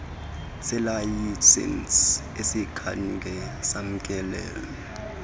selayisenisi asikhange samkelwe